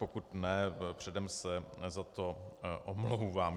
Pokud ne, předem se za to omlouvám.